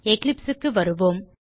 Eclipseக்கு வருவோம்